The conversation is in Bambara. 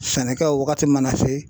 Sɛnɛkɛw wagati mana se